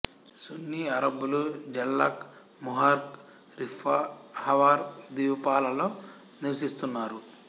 సున్నీ అరబ్బులు జల్లాక్ Muharraq Riffa Hawar ద్వీపాలలో నివసిస్తున్నారు